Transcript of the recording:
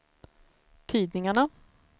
tidningarna